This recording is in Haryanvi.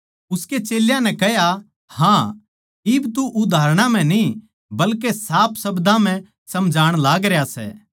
उसकै चेल्यां नै कह्या हाँ इब तू उदाहरणां म्ह न्ही बल्के साफ शब्दां म्ह समझाण लागरया सै